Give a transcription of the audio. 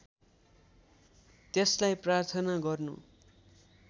त्यसलाई प्रार्थना गर्नु